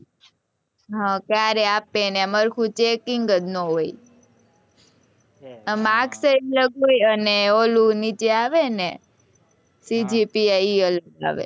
હા ક્યારે આપે ને એમાં કઈ checking જ ન હોય માર્કશીટ હોય અને ઓલું નીચે આવે ને cgpi એ અલગ આવે